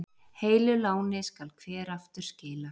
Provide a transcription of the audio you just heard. Heilu láni skal hver aftur skila.